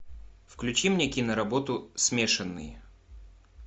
включи мне киноработу смешанные